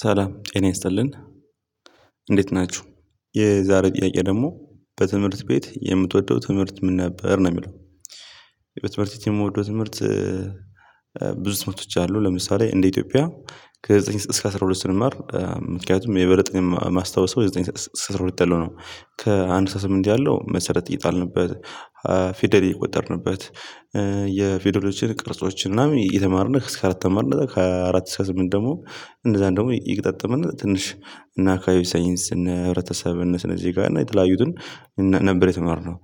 ሰላም ጤና ያስጥልኝ እንዴት ናችሁ? የዛሬ ጥያቄ ደግሞ በትምህርት ቤት የምትወደው ትምህርት ምን ነበር ነው የሚለው? የትምህርት ትምህርት የምትወደው ትምህርት ብዙ ትምህርቶች አሉ። ለምሳሌ እንደ ኢትዮጵያ ከዘጠኝ እስከ አስራ ሁለት ስንማር ምክንያቱም የበለጠ ማስታወሰው ከዘጠኝ እስከ አስራ ሁለት ያለው ነው። ከአንድ እስከ ስምንት ያለው መሰረት የጣልንበት ፊደል የቆጠርንበት፣ የፊሎዶችን ቅርጾችን ምናምን እየተማርን እስከ አራት ተማርን። ከዚያ አራት እስከ ስምንት ደግሞ እንደዛ ደግሞ እየገጣጥምን ትንሽ እነ አካባቢ ሳይንስ፣ እነ ህብረተሰብ፣ እነ ስነዜጋ እና የተለያዩትን ነበር የተማርነው።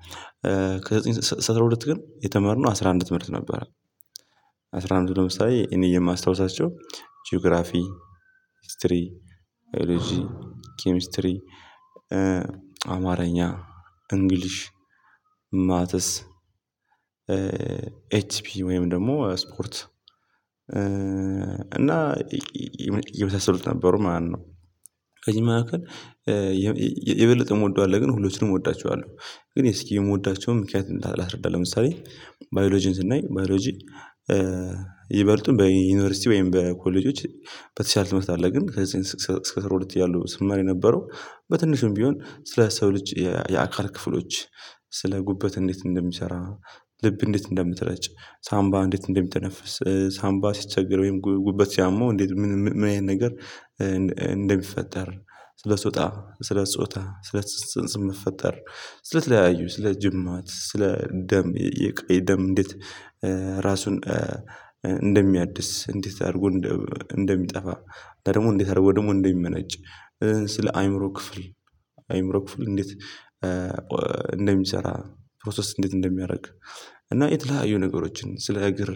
ከዘጠኝ እስከ አስራ ሁለት ግን የተማርነው አስራ አንድ ትምህርት ነበር። አስራ አንድ ለምሳሌ እኔ የማስታውሳቸው ጂኦግራፊ ህስትሪ፣ ባዮሎጂ፣ ኪሚስትሪ፣ አማርኛ እንግሊሽ ማተስ፣ ኤችፒኢ ወይም ደግሞ ስፖርት እና የሚመሳሰል ነበሩ ማለት ነው። ከዚህ መካከል የበለጠ የምወደው አለ፣ ግን ሁሉም እወዳቸዋለሁ፣ ግን እስኪ የምወዳቸውን ምክንያት እንዳላስረዳ። ለምሳሌ ባዮሎጂን ስናይ፣ ባዮሎጂ ይበልጡን በዩኒቨርሲቲ ወይም በኮሌጆች በተሻለ ትምህርት አለ ግን ከዚህ እስከ ስር ሁለት እያለሁ ስማር የነበረው በትንሹም ቢሆን ስለ ሰው ልጅ የአካል ክፍሎች ስለ ጉበት እንዴት እንደሚሰራ ልብ እንዴት እንደምትረጭ፣ ሳምባ እንዴት እንደምትነፍስ፣ ሳምባ ሲቸገር ወይም ጉበት ሲያመው እንዴት፣ ምን አይነት ነገር እንደሚፈጠር፣ ስለ ሶጣ፣ ስለ ጾታ፣ ስለ ጽንስም መፈጠር ስለ ትለያዩ፣ ስለ ጅማት፣ ስለ ደም፣ የቀይ ደም እንዴት ራሱን እንደሚያድስ፣ እንዴት አድርጎ እንደሚጠፋ፣ ደግሞ እንዴት አድርጎ ደግሞ እንደሚመነጭ ስለ አይምሮ ክፍል፣ አይምሮ ክፍል እንዴት እንደሚሰራ ፕሮሰስ እንዴት እንደሚያደርግ እና የተለያዩ ነገሮችን ስለ እግር፣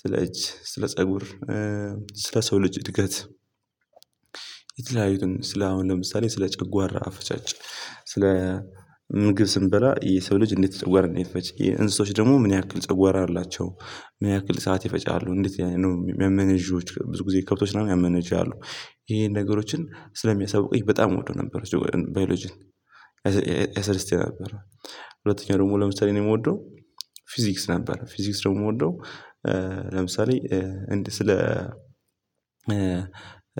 ስለ እጅ፣ ስለ ፀጉር ስለ ሰው ልጅ እድገት የተለያዩትን ስለ፣ አሁን ለምሳሌ ስለ ጨጓራ አፈጫጭ፣ ስለ ምግብ ስንበላ የሰው ልጅ እንዴት ጨጓራ እንደሚፈጭ፣ የእንስሶች ደግሞ ምን ያክል ጨጓራ አላቸው? ምን ያክል ሰዓት ይፈጫሉ? እንዴት የሚያመነዥጉት? ብዙ ጊዜ ከብቶች ምናምን ያመነዥጋሉ። ይሄን ነገሮችን ስለሚያሳውቀኝ በጣም እወደው ነበረ ባዮሎጂን፣ ያስደስተኝ ነበር ሁለተኛው ደግሞ ለምሳሌ ነው የምወደው ፊዚክስ ነበር። ፊዚክስ ደግሞ የምወደው ለምሳሌ እንደ ስለ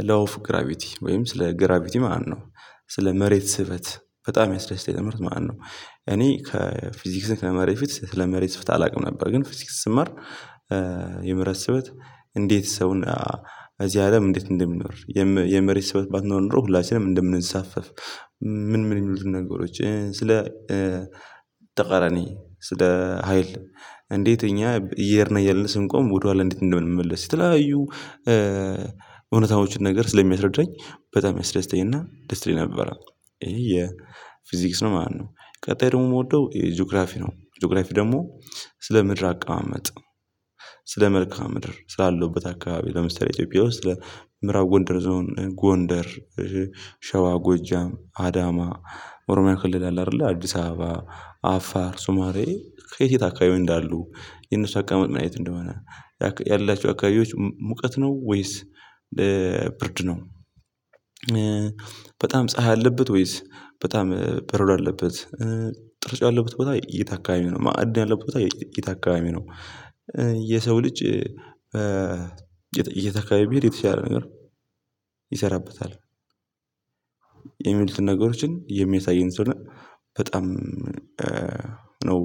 ላው ኦፍ ግራቢቲ ወይም ስለ ግራቪቲ ማለት ነው። ስለ መሬት ስበት በጣም ያስደስተኝ ትምህርት ማለት ነው። እኔ ከፊዚክስን ከመማሬ በፊት ስለመሬት ስበት አላውቅም ነበረ፣ ግን ፊዚክስ ስማር የመሬት ስበት እንዴት ሰውን እዚህ አለም እንዴት እንደምንኖር፣ የመሬት ሰበት ባትኖር ኖሮ ሁላችንም እንደምንሳፈፍ ምን፣ ምን የሚሉ ነገሮችን ስለ ተቃራኒ ስለ ሀይል እንዴት እኛ እየሄድን እያለን ስንቆም ወደኋላ እንዴት እንደምንመለስ ስለተለያዩ እውነታዎችን ነገር ስለሚያስረድረኝ በጣም ያስደስተኝና ደስተኛ ነበረ። ይሄ የፊዚክስ ነው ማለት ነው። ቀጣይ ደግሞ የምወደው ጂኦግራፊ ነው። ጂኦግራፊ ደግሞ ስለ ምድር አቀማመጥ፣ ስለ መልካም ምድር፣ ስላለውበት አካባቢ ለምሳሌ ኢትዮጵያ ውስጥ ምራብ ጎንደር ዞን፣ ጎንደር ሸዋ ጎጃም፣ አዳማ ኦሮሚያ ክልል አለ አይደለ፣ አዲስ አበባ፣ አፋር፣ ሱማሌ፣ ከየት የት አካባቢ እንዳሉ? የነሱ አቀመጥ አይነት እንደሆነ? ያላችሁ አካባቢዎች ሙቀት ነው ወይስ ብርድ ነው? በጣም ፀሀይ አለበት ወይስ በጣም በረዶ አለበት? ጥርጭ ያለበት ቦታ እየታካሚ ነው? ማዕድን ያለበት ቦታ እየታካሚ ነው? የሰው ልጅ የት አካባብ ብሄድ የተሻለ ነገር ይሰራበታል? የሚልትን ነገሮችን የሚያሳየን ስለሆነ በጣም ነው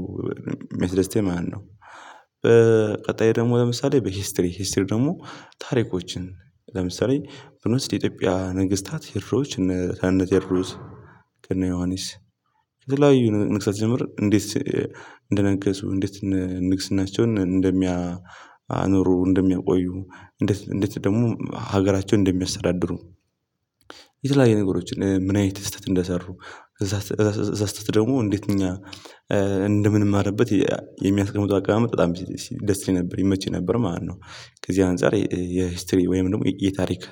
ሚያስደስተኝ ማለት ነው። በቀጣይ ደግሞ ለምሳሌ በሂስትሪ፣ ሂስትሪ ደግሞ ታሪኮችን ለምሳሌ ብር ውስጥ የኢትዮጵያ ነግስታት ሄሮዎች እነ ከነተዎድሮስ፣ እነ ዮሐንስ፣ ከተለያዩ ነግስታት ስጀምር እንዴት እንደነገሱ? እንዴት ንግስናቸውን እንደሚያኖሩ፣ እንደሚያቆዩ እንዴት፣ እንዴት ደግሞ ሀገራቸውን እንደሚያስተዳድሩ። የተለያየ ነገሮችን ምን አይነት ስህተት እንደሰሩ፣ እዛ እዛ ስትል ደግሞ እንዴት እኛ እንደምንማርበት የሚያስቀምጡ አቅማመጥ በጣም ደስ ይለኝ ነበር፣ ይመችኝ ነበር ማለት ነው። ከዚህ አንፃር የሂስትሪ ወይም ደግሞ የታሪክ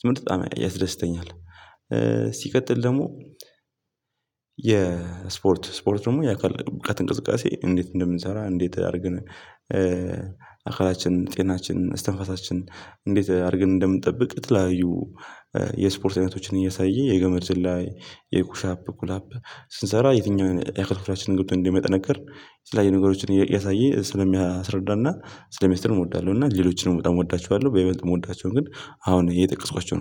ትምህርት በጣም ያስደስተኛል። ሲቀጥል ደግሞ የስፖርት፣ ስፖርት ደግሞ የአካል ብቃት እንቅስቃሴ እንዴት እንደምንሰራ፣ እንዴት አድርገን አካላችን ጤናችን፣ እስትንፋሳችን እንዴት አድርገን እንደምንጠብቅ የተለያዩ የስፖርት አይነቶችን እያሳየ፣ የገመድ ዝላይ፣ የኩሻፕ፣ ኩላፕ ስንሰራ የትኛውን የአካል ክፍላችንን ገንብቶ እንደሚያጠነከር የተለያይዩ ነገሮችን እያሳየ ስለሚያስረዳና ስለሚያስተምር እሞዳለሁ። እና ሌሎችንም ወጣሁ እወዳቸዋለሁ በይበልጥ እሞዳቸው ግን አሁን የጠቀስኳቸው ነው።